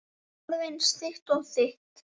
Alveg eins og þitt.